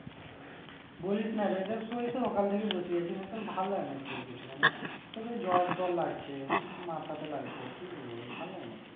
বলিসনা এক এক সময় ভাল লাগে না একটুও কিছু মানে জ্বর টর লাগছে, মাথাতে লাগছে কি বলবো ভাল লাগে না একটুকুও